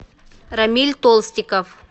рамиль толстиков